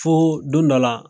Foo don dɔ la